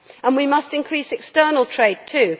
We must increase external trade too.